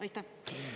Aitäh?